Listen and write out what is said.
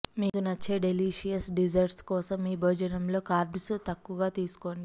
మీకు నచ్చే delicious desserts కోసం మీ భోజనం లో కార్బ్స్ తక్కువ తీసుకోండి